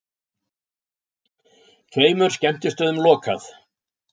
Tveimur skemmtistöðum lokað